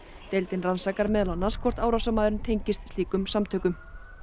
deildin rannsakar meðal annars hvort árásarmaðurinn tengist slíkum samtökum